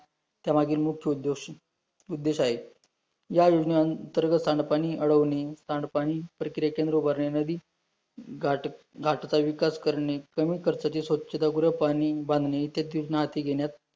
या योजने अंतर्गत सांडपाणी अडवणे, सांडपाणी प्रक्रिया केंद्र उभारणे नदी, घाट घाटाचा विकास करणे, कमी खर्चाचे स्वच्छतागृह, पाणी बांधणी त्यांत योज्नार्थी घेण्यात